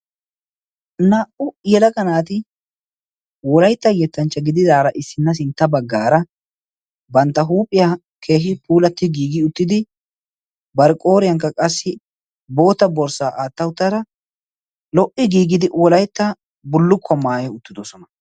naa77u yelaga naati wolaytta yettanchcha gididaara issinna sintta baggaara bantta huuphiyaa keehi puulatti giigi uttidi bar qooriyaankka qassi bootta borssaa aatta uttara lo77i giigidi wolaytta bullukkuwaa maayi uttidosona.